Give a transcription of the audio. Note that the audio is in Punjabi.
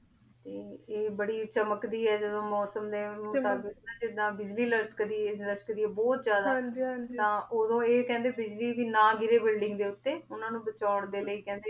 ਤੇ ਆਯ ਬਾਰੀ ਚਮਕਦੀ ਆਯ ਜਿਦੋਂ ਮੋਸਮ ਦੇ ਮੁਤਾਬਿਕ਼ ਨਾ ਜਿਦਾਂ ਬਿਜਲੀ ਲਾਪਾਕਦੀ ਆਯ ਬੋਹਤ ਜਿਆਦਾ ਹਾਂਜੀ ਹਾਂਜੀ ਤਾਂ ਊ ਕੇਹੰਡੀ ਬਿਜਲੀ ਭੀ ਨਾ ਗਿਰੇ ਬੁਇਲ੍ਡਿੰਗ ਦੇ ਊਟੀ ਓਨਾਂ ਨੂ ਬਚਨ ਦੇ ਲੈ ਕੇਹੰਡੀ